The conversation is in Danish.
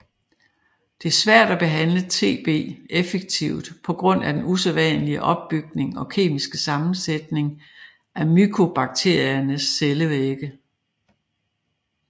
Det er svært at behandle TB effektivt på grund af den usædvanlige opbygning og kemiske sammensætning af mykobakteriernes cellevægge